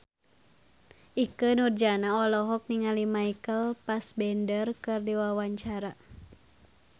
Ikke Nurjanah olohok ningali Michael Fassbender keur diwawancara